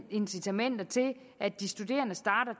incitamenter til at de studerende starter